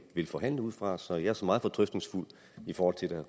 vil forhandle ud fra så jeg er såmænd meget fortrøstningsfuld i forhold til at